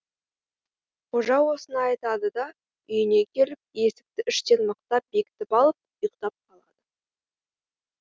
қожа осыны айтады да үйіне келіп есікті іштен мықтап бекітіп алып ұйықтап қалады